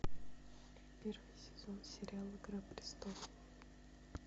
первый сезон сериал игра престолов